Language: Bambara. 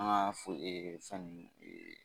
An ka fo fɛn nun